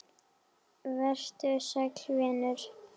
Vertu sæll vinur.